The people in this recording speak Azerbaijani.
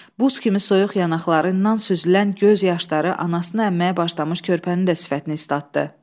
Buz kimi soyuq yanaqlarından süzülən göz yaşları anasını əmməyə başlamış körpənin də sifətini islatdı.